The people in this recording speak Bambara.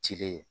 Ci de ye